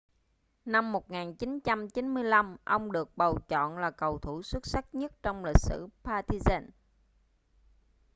năm 1995 ông được bầu chọn là cầu thủ xuất sắc nhất trong lịch sử partizan